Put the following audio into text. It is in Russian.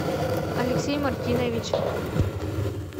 алексей мартинович